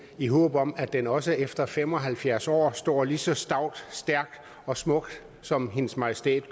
i håb om at den også efter fem og halvfjerds år stå lige så stout stærkt og smukt som hendes majestæt